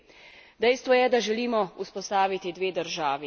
Dve varni državi, ki bosta jamčili mir v regiji.